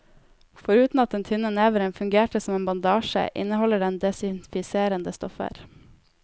Foruten at den tynne neveren fungerte som en bandasje, inneholder den desinfiserende stoffer.